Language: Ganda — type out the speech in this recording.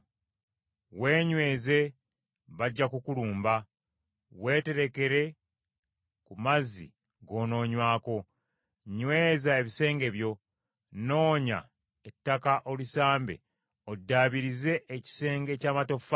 Weenyweze bajja kukulumba! Weeterekere ku mazzi g’onoonywako. Nyweza ebisenge byo. Noonya ettaka olisambe oddaabirize ekisenge eky’amatoffaali.